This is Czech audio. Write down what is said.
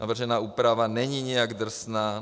Navržená úprava není nijak drsná.